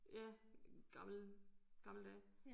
Ja gamle gamle dage